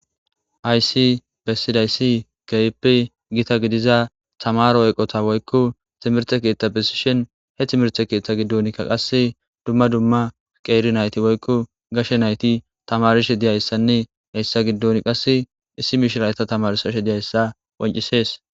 "Haysi besidaysi keehipe gita gidiza tamaaro eqota woykko timirte keetha besishin he timirte keetha giddonkka qasse dumma dumma qeeri nayti woykko gashe nayti tamaarishe dizaysanne hessa giddon qasse issi mishiriya eeta tamarsashe dizaysa qonccisees."